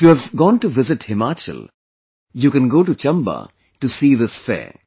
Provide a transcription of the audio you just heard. If you have gone to visit Himachal, you can go to Chamba to see this fair